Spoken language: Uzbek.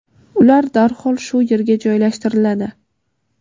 ular darhol shu yerga joylashtiriladi.